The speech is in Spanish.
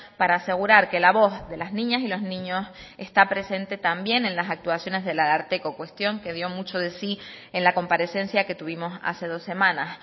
para asegurar que la voz de las niñas y los niños está presente también en las actuaciones del ararteko cuestión que dio mucho de sí en la comparecencia que tuvimos hace dos semanas